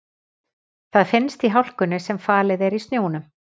Það finnst í hlákunni sem falið er í snjónum.